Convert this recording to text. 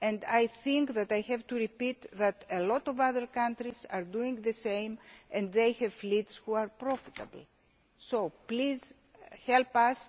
practice. I think I have to repeat that a lot of other countries are doing the same, and they have fleets that are profitable, so please